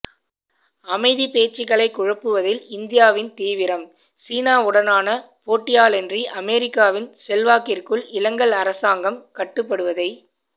அமைதிப் பேச்சுக்களைக் குழப்புவதில் இந்தியாவின் தீவிரம் சினாவுடனான போட்டியாலன்றி அமெரிக்கவின் செல்வக்கிற்குள் இலங்கல் அரசாங்கம் கட்டுப்படுவதைத்